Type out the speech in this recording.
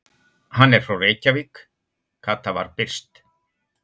Hann er frá Reykjavík, Kata var byrst.